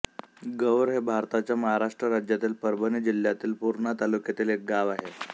गौर हे भारताच्या महाराष्ट्र राज्यातील परभणी जिल्ह्यातील पूर्णा तालुक्यातील एक गाव आहे